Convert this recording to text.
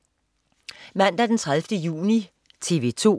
Mandag den 30. juni - TV 2: